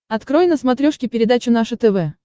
открой на смотрешке передачу наше тв